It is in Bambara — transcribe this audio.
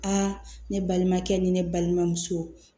Aa ne balimankɛ ni ne balimamuso